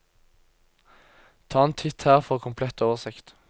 Ta en titt her for komplett oversikt.